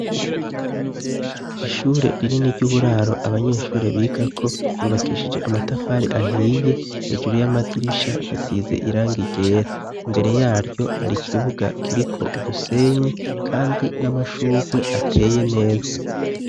Ishure rinini ry'uburaro abanyeshure bigako ryubakishije amatafari ahiye, hejuru y'amadirisha hasize irangi ryera. Imbere yaryo hari ikibuga kiriko udusenyi kandi amashurwe ateye neza.